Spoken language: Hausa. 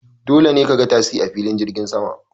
Dole ne ka ga tasi a filin jirgin sama.